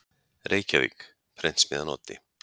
Reykjavík: Prentsmiðjan Oddi.